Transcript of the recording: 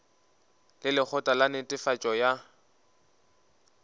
le lekgotla la netefatšo ya